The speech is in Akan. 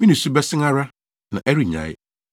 Me nusu bɛsen ara, na ɛrennyae,